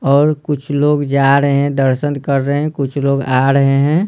और कुछ लोग जा रहे हैं दर्शन कर रहे हैं कुछ लोग आ रहे हैं।